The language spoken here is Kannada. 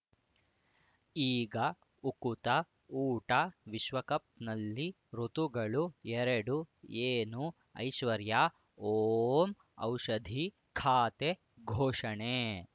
ಈಗ ಉಕುತ ಊಟ ವಿಶ್ವಕಪ್‌ನಲ್ಲಿ ಋತುಗಳು ಎರಡು ಏನು ಐಶ್ವರ್ಯಾ ಓಂ ಔಷಧಿ ಖಾತೆ ಘೋಷಣೆ